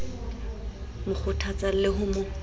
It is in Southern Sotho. mo kgothatsang le ho mo